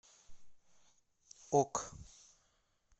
ок